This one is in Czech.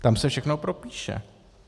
Tam se všechno propíše.